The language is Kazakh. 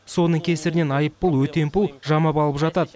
соның кесірінен айыппұл өтемпұл жамап алып жатады